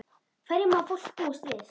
Hverju má fólk búast við?